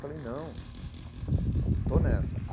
Falei, não, estou nessa.